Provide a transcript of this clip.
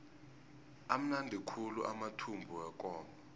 amnandi khulu amathumbu wekomo